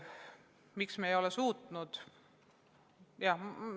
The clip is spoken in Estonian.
Miks me ei ole suutnud?